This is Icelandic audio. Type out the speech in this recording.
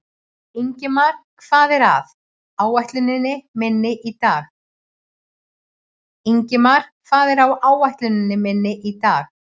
Ingimar, hvað er á áætluninni minni í dag?